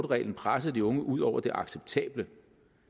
reglen presser de unge ud over det acceptable